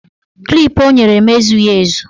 Klip o nyere m ezughị ezu